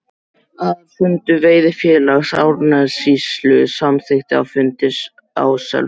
Aðalfundur Veiðifélags Árnessýslu samþykkti á fundi á Selfossi